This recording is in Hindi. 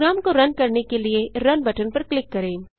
प्रोग्राम को रन करने के लिए रुन बटन पर क्लिक करें